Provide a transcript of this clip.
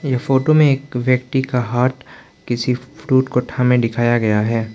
यह फोटो में एक व्यक्ति का हाथ किसी फ्रूट को थामे दिखाया गया है।